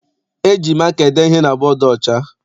E ji maka ede ihe na bọdu ọcha.